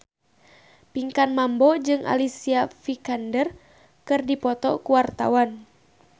Pinkan Mambo jeung Alicia Vikander keur dipoto ku wartawan